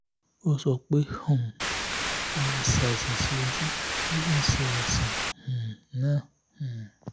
ó sọ pé um ó máa ń ṣe àìsàn sí ojú ó sì ń ṣe um àìsàn náà um